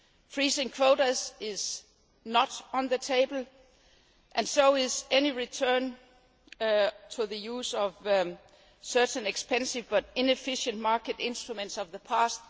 Freezing quotas is not on the table, and neither is any return to the use of certain expensive but inefficient market instruments of the past.